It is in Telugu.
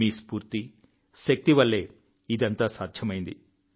మీ స్ఫూర్తి శక్తి వల్లే ఇదంతా సాధ్యమైంది